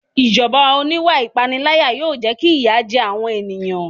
Ìjọba oníwà ìpániláyà yóò jẹ́ kí ìyà jẹ àwọn èèyàn